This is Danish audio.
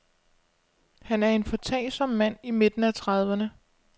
Han er en foretagsom mand i midten af trediverne.